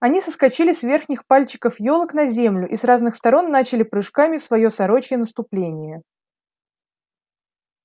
они соскочили с верхних пальчиков ёлок на землю и с разных сторон начали прыжками своё сорочье наступление